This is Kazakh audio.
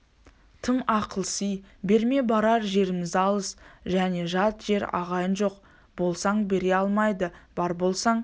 тым ақылси берме барар жеріміз алыс және жат жер ағайын жоқ болсаң бере алмайды бар болсаң